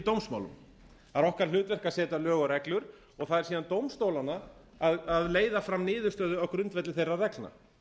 dómsmálum það er okkar hlutverk að setja lög og reglur það er síðan dómstólanna að leiða fram niðurstöðu á grundvelli þeirra reglna